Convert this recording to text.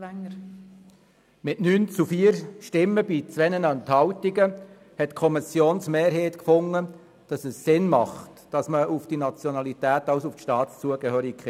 Mit 9 zu 4 Stimmen bei 2 Enthaltungen entschied die Kommissionsmehrheit, dass es Sinn macht, auf die Nationalität abzustellen.